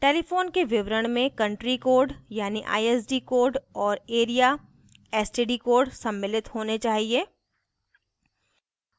telephone के विवरण में country code यानि isd code और area/std code सम्मिलित होने चाहिए